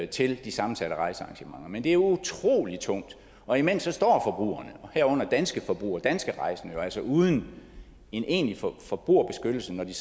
til de sammensatte rejsearrangementer men det er utrolig tungt og imens står herunder danske forbrugere danske rejsende jo altså uden en egentlig forbrugerbeskyttelse når de